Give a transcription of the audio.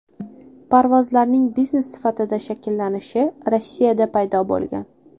Parvozlarning biznes sifatida shakllanishi Rossiyada paydo bo‘lgan.